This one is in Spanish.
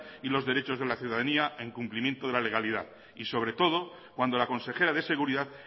y los derechos de la ciudadanía en cumplimiento de la legalidad y sobre todo cuando la consejera de seguridad